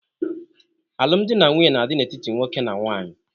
Alụmdi na nwunye na-adị n'etiti nwoke na nwaanyị.